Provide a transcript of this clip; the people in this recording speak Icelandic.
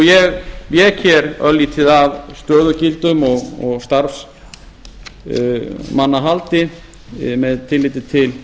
ég vék hér örlítið að stöðugildum og starfsmannahaldi með tilliti til